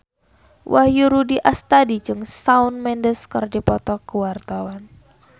Wahyu Rudi Astadi jeung Shawn Mendes keur dipoto ku wartawan